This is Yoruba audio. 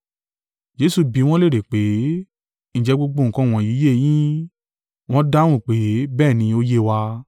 Jesu bí wọn léèrè pé, “Ǹjẹ́ gbogbo nǹkan wọ̀nyí yé yín.” Wọ́n dáhùn pé, “Bẹ́ẹ̀ ni, ó yé wa.”